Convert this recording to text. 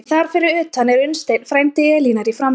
En þar fyrir utan er Unnsteinn, frændi Elínar, í framboði.